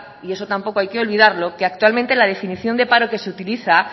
y eso tampoco hay que olvidarlo que actualmente la definición de paro que se utiliza